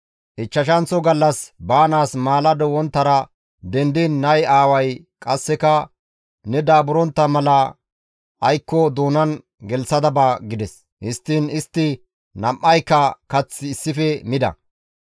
Ichchashanththo gallas baanaas maalado wonttara dendiin nay aaway qasseka, «Ne daaburontta mala aykko doonan gelththada ba» gides; histtiin istti nam7ayka kath issife mida.